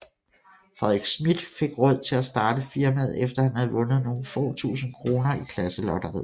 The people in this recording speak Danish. Frederik Smidth fik råd til at starte firmaet efter han havde vundet nogle få tusinde kroner i klasselotteriet